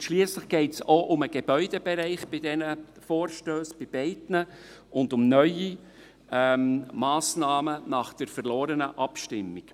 Und schliesslich geht es auch um den Gebäudebereich bei diesen Vorstössen, bei beiden, und um neue Massnahmen nach der verlorenen Abstimmung.